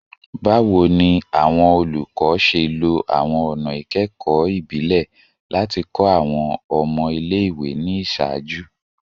Bawo ni awọn olukọ ṣe lo awọn ọna ikẹkọ ibile lati kọ awọn ọmọ ile-iwe ni iṣaaju?